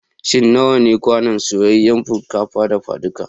Shin nawa ne kwanon soyayyan shinkafa dafaduka?